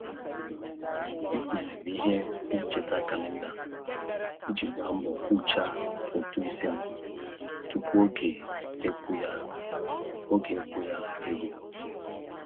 E tinyere m ihe ncheta kalenda iji gba mbọ kwucha ụtụisi m tụpụ oge ịkwụ ya oge ịkwụ ya e ruo.